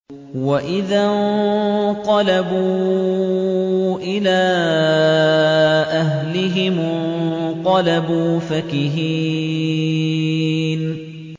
وَإِذَا انقَلَبُوا إِلَىٰ أَهْلِهِمُ انقَلَبُوا فَكِهِينَ